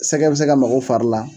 Sɛgɛ bɛ se ka mag'o fari la